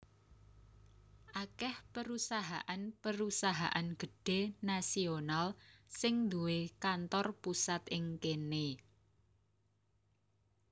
Akèh perusahaan perusahaan gedhé nasional sing duwé kantor pusat ing kéné